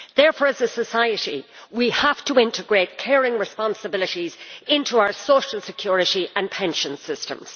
Therefore, as a society, we have to integrate caring responsibilities into our social security and pension systems.